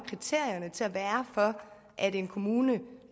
til at være for at en kommune